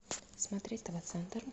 смотреть тв центр